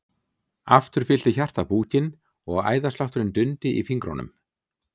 Aftur fyllti hjartað búkinn og æðaslátturinn dundi í fingrunum.